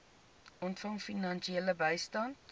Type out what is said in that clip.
ontvang finansiële bystand